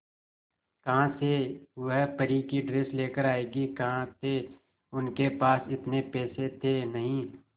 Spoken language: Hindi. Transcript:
कहां से वह परी की ड्रेस लेकर आएगी कहां थे उनके पास इतने पैसे थे नही